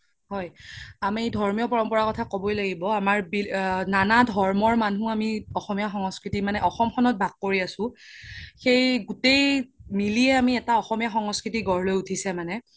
হয় আমি ধৰ্মিয় পৰম্পৰা কথা কবৈ লাগিব আমাৰ নানা ধৰ্মৰ মানুহ আমি অসমীয়া সংস্কৃতি মানে অসমখনত বাস কোৰি আছো সেই গুতেই মিলিয়ে এটা অসমীয়া সংস্কৃতি গঢ় লৈ উথিছে মানে